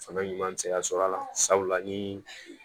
Fanga ɲuman bɛ se ka sɔrɔ a la sabula ni